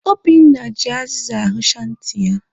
Obinna ji azịza ahụcha ntị ya.